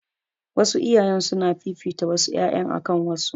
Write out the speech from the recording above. Wasu iyayen suna fifita wasu ƴaƴan akan wasu